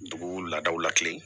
Dugu laadaw la kelen